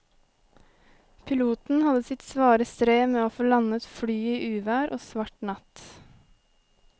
Piloten hadde sitt svare strev med å få landet flyet i uvær og svart natt.